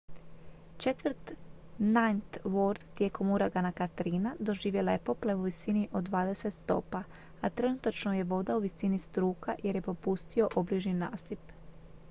četvrt ninth ward tijekom uragana katrina doživjela je poplave u visini od 20 stopa a trenutačno je voda u visini struka jer je popustio obližnji nasip